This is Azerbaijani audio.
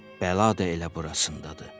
Bəla da elə burasındadır.